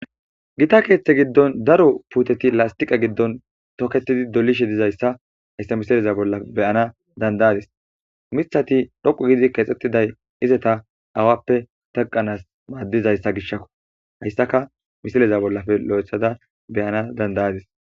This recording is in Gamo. Gita keththa giddonni daro puteti lastewqe giddonni tokettid dolishshe dizayissa hayissa missilezza bolla be'ana danida'adiss miththati dhooqqu gidi kexettidayi izeta awappe teqenas madizayissa gishshakko .hayissakka missileza bollappe loyiththada be'anass danida'adiss.